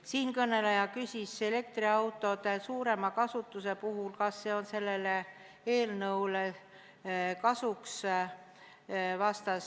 Siinkõneleja küsis elektriautode suurema kasutuse kohta, kas see tuleb sellele eelnõule kasuks.